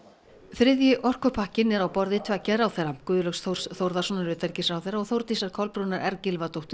þriðji orkupakkinn er á borði tveggja ráðherra Guðlaugs Þórs Þórðarsonar utanríkisráðherra og Þórdísar Kolbrúnar r Gylfadóttur